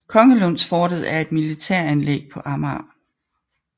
Kongelundsfortet er et militæranlæg på Amager